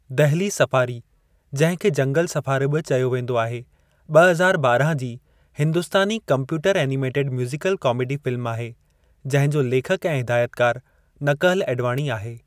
Delhi safari (जंहिं खे जंगल सफ़ारी बि चयो वेंदो आहे ॿ हज़ार ॿारहां जे हिंदुस्तानी कम्प्यूटर-एनीमेटेड म्यूज़ीकल कामेडी फ़िल्म आहे जंहिं जो लेखकु ऐं हिदायतकारु नकहल एडवाणी आहे।